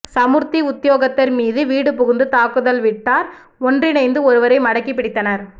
சமுர்த்தி உத்தியோகத்தர் மீது வீடு புகுந்து தாக்குதல் வீட்டார் ஒன்றினணந்து ஒருவரை மடக்கி பிடித்தனர்